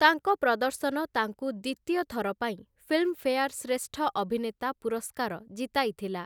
ତାଙ୍କ ପ୍ରଦର୍ଶନ ତାଙ୍କୁ ଦ୍ୱିତୀୟ ଥର ପାଇଁ ଫିଲ୍ମଫେୟାର୍‌ ଶ୍ରେଷ୍ଠ ଅଭିନେତା ପୁରସ୍କାର ଜିତାଇଥିଲା ।